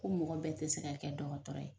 Ko mɔgɔ bɛɛ te se ka kɛ dɔgɔtɔrɔ ye